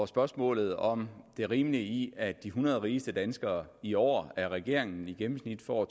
spørgsmålet om det rimelige i at de hundrede rigeste danskere i år af regeringen i gennemsnit får